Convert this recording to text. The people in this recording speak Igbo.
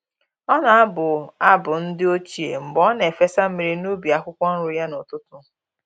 Ọ na-abụ abụ ndi ochie mgbe ọ na-efesa mmiri n’ubi akwukwo nri ya n’ụtụtụ.